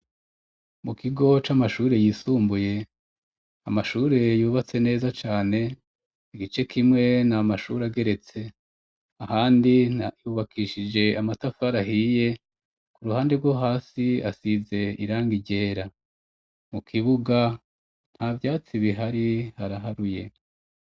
mu kigo c'amashuri yisumbuye amashure yubatse neza cane igice kimwe na mashure ageretse ahandi yubakishije amatafari ahiye ku ruhande rwo hasi asize irangangiryera mu kibuga nta byatsi bihari haraharuye